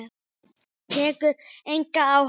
Tekur enga áhættu.